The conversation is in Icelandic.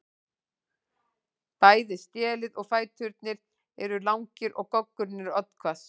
Bæði stélið og fæturnir eru langir og goggurinn er oddhvass.